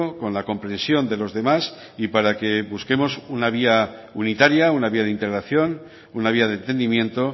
con la compresión de los demás y para que busquemos una vía unitaria una vía de integración una vía de entendimiento